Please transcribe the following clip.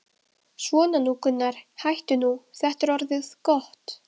Svona nú Gunnar, hættu nú, þetta er orðið gott.